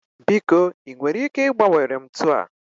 biko ị nwere ike ịgbanwere m ntu a?